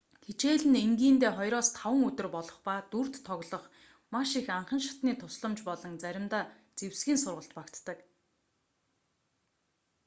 хичээл нь энгийндээ 2-5 өдөр болох ба дүрд тоглох маш их анхан шатны тусламж болон заримдаа зэвсгийн сургалт багтдаг